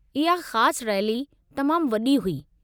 इहा ख़ासि रैली तमामु वॾी हुई।